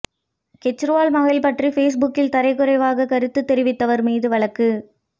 கெஜ்ரிவால் மகள் பற்றி ஃபேஸ்புக்கில் தரக்குறைவாக கருத்து தெரிவித்தவர் மீது வழக்கு